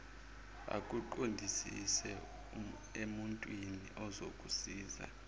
akuqondise emuntwini ozokusiza